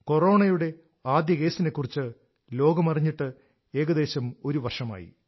കൊറോണയുടെ ആദ്യ കേസിനെക്കുറിച്ച് ലോകം അറിഞ്ഞിട്ട് ഏകദേശം ഒരു വർഷമായി